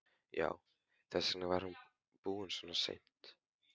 Já, þess vegna var hann búinn svona seint.